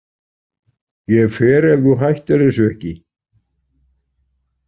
Ég fer ef þú hættir þessu ekki.